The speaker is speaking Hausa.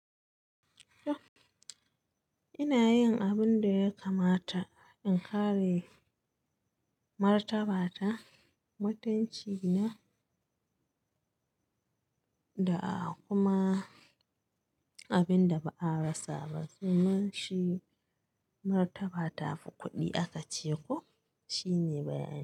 Ina yin abun da ya kamata, in kare martabata, mutunci na, da kuma abin da ba a rasa ba, se mun chi Martaba tafi kuɗi aka ce ko, shine bayani.